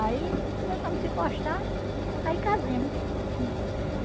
Aí começamos a se gostar, aí casemos.